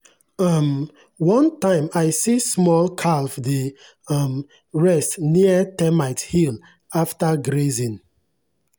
um one time i see small calf dey um rest near termite hill after grazing.